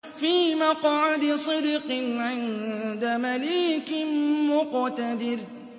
فِي مَقْعَدِ صِدْقٍ عِندَ مَلِيكٍ مُّقْتَدِرٍ